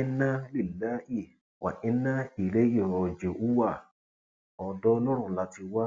inná lílàhí wá ináà ìláèhí róòjíùwà ọdọ ọlọrun la ti wá